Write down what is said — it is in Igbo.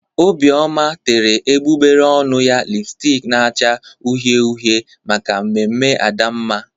Obioma tere egbugbere ọnụ ya lịpstik na-acha uhie uhie maka mmemme Adamma